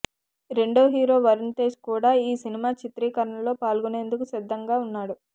రెండో హీరో వరుణ్ తేజ్ కూడా ఈ సినిమా చిత్రీకరణలో పాల్గొనేందుకు సిద్దంగా ఉన్నాడు